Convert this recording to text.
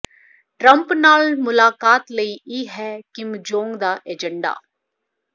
Trump ਨਾਲ ਮੁਲਾਕਾਤ ਲਈ ਇਹ ਹੈ ਕਿਮ ਜੋਂਗ ਦਾ ਏਜੰਡਾ